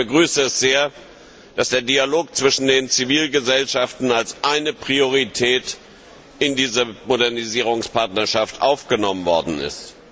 Ich begrüße es sehr, dass der Dialog zwischen den Zivilgesellschaften als eine Priorität in dieser Modernisierungspartnerschaft aufgenommen worden ist.